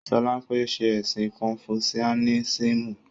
Solape n ṣe ẹ̀sìn kọnfusiánísímù